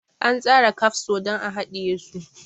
An tsara kafso don a hadiye su.